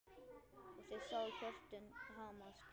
Og þau sáu hjörtun hamast.